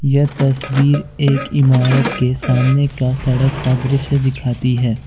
यह तस्वीर एक इमारत के सामने का सड़क का दृश्य दिखाती है।